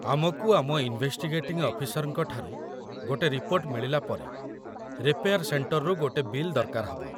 ଆମକୁ ଆମ ଇନ୍‌ଭେଷ୍ଟିଗେଟିଂ ଅଫିସରଙ୍କ ଠାରୁ ଗୋଟେ ରିପୋର୍ଟ ମିଳିଲା ପରେ, ରିପେୟାର୍ ସେଣ୍ଟର୍‌ରୁ ଗୋଟେ ବିଲ୍ ଦରକାର ହବ ।